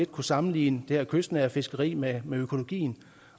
kunne sammenligne det her kystnære fiskeri med med økologi